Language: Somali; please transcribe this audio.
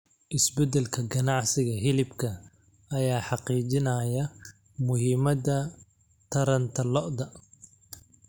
Isbeddelka ganacsiga hilibka ayaa xaqiijinaya muhiimada taranta lo'da.